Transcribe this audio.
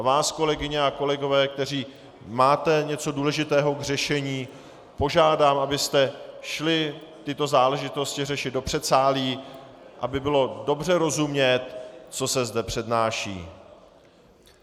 A vás, kolegyně a kolegové, kteří máte něco důležitého k řešení, požádám, abyste šli tyto záležitosti řešit do předsálí, aby bylo dobře rozumět, co se zde přednáší.